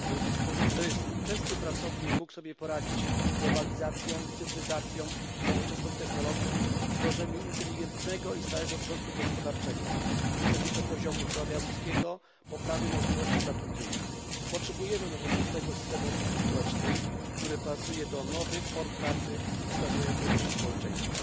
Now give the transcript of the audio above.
By współczesny pracownik mógł sobie poradzić z globalizacją, cyfryzacją, nowoczesną technologią, by zapewniać inteligentny i stały wzrost gospodarczy, wysoki poziom zdrowia ludzkiego, poprawę możliwości zatrudnienia, potrzebujemy nowoczesnego systemu opieki społecznej, który pasuje do nowych form pracy i starzejącego się społeczeństwa.